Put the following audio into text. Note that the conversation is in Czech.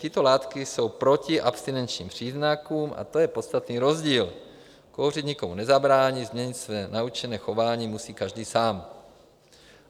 Tyto látky jsou proti abstinenčním příznakům a to je podstatný rozdíl: kouřit nikomu nezabrání, změnit své naučené chování musí každý sám.